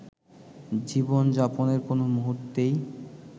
জীবনযাপনের কোনো মুহূর্তেই